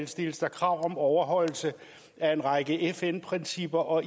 stilles der krav om overholdelse af en række fn principper og